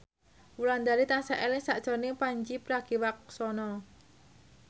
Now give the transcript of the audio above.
Wulandari tansah eling sakjroning Pandji Pragiwaksono